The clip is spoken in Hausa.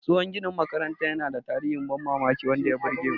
Tsohon ginin makarantar yana da tarihin ban mamaki wanda ya burge mu.